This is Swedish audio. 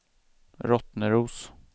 Rottneros